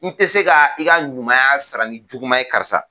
N tɛ se ka i ka ɲumanya sara ni juguma ye karisa.